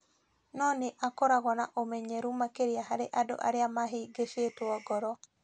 no nĩ akoragwo na ũmenyeru makĩria harĩ andũ arĩa mahĩngĩcĩtwo ngoro.